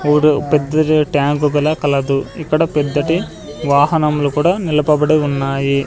ఇప్పుడు పెద్ద ట్యాంకు కల కలదు ఇక్కడ పెద్దటి వాహనములు కూడా నిలపబడి ఉన్నాయి.